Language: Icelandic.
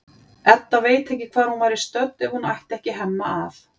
Edda veit ekki hvar hún væri stödd ef hún ætti ekki Hemma að.